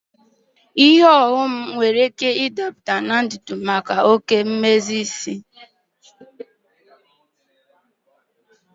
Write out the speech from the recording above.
Oghom di nwere ike ịgụnye ọnụ ahịa ọrụ na mmebi nke ntutu site na oke mmezi isi.